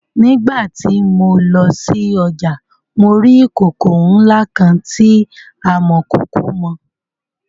Nígbà tí mo lọ sí ọjà mo rí ìkòkò ńlá kan tí amọ̀kòkò mọ.